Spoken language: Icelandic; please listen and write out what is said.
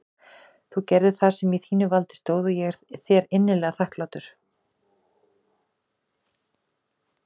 Þú gerðir það sem í þínu valdi stóð og ég er þér innilega þakklátur.